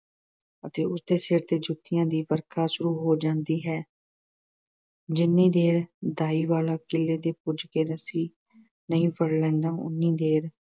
ਅਤੇ ਉਸ ਦੇ ਸਿਰ ਤੇ ਜੁੱਤੀਆਂ ਦੀ ਵਰਖਾ ਸ਼ੁਰੂ ਹੋ ਜਾਂਦੀ ਹੈ। ਜਿੰਨੀ ਦੇਰ ਦਾਈ ਵਾਲਾ ਕੀਲੇ ਤੇ ਪੁੱਜ ਕੇ ਰੱਸੀ ਨਹੀਂ ਫੜ ਲੈਂਦਾ, ਓਨੀ ਦੇਰ